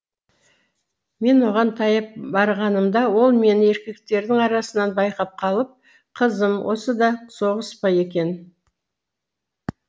мен оған таяп барғанымда ол мені еркектердің арасынан байқап қалып қызым осы да соғыс па екен